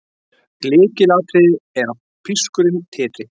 Lykilatriði er að pískurinn titri.